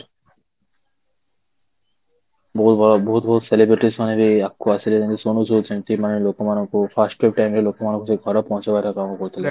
ବହୁତ ବଡ ବହୁତ ବଡ celebrities ମାନେ ବି ଆଗକୁ ଆସିଲେ ଯେମିତି କି ସୋନୁ ସୂଦ ସେମିତି ମାନେ ଲୋକ ମାନଙ୍କୁ first wave time ରେ ଲୋକ ମାନଙ୍କୁ ଯୋଉ ଘରେ ପହଞ୍ଚେଇବାର କାମ କରୁଥିଲେ